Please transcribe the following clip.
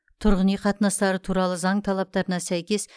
тұрғын үй қатынастары туралы заң талаптарына сәйкес